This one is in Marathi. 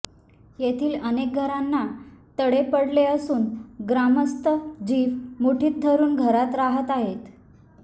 येथील अनेक घरांना तडे पडले असून ग्रामस्थ जीव मुठीत धरून घरात राहत आहेत